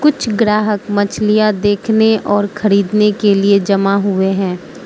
छ ग्राहक मछलियां देखना और खरीदने के लिए जमा हुए है।